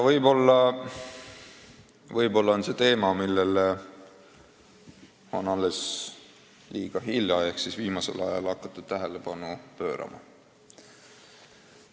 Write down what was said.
Võib-olla on see teema, millele on liiga hilja ehk siis alles viimasel ajal hakatud tähelepanu pöörama.